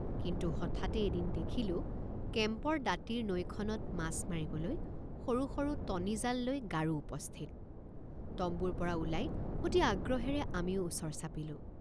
কিন্তু হঠাতে এদিন দেখিলোঁ কেম্পৰ দাঁতিৰ নৈখনত মাছ মাৰিবলৈ সৰু সৰু টনিজাল লৈ গাৰো উপস্থিত তম্বুৰপৰা ওলাই অতি আগ্ৰহেৰে আমিও ওচৰ চাপিলোঁ।